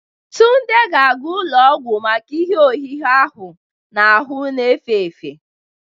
Tunde ga-aga ụlọọgwụ maka ihe ọhịgha ahụ ahụ n'efe efe